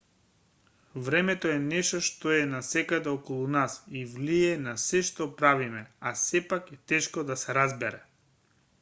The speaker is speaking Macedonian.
времето е нешто што е насекаде околу нас и влијае на сѐ што правиме а сепак е тешко да се разбере